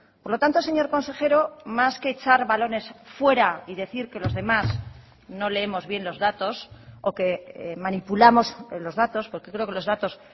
por lo tanto señor consejero más que echar balones fuera y decir que los demás no leemos bien los datos o que manipulamos los datos porque creo que los datos